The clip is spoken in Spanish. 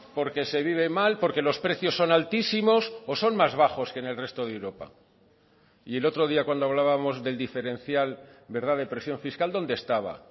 porque se vive mal porque los precios son altísimos o son más bajos que en el resto de europa y el otro día cuando hablábamos del diferencial verdad de presión fiscal dónde estaba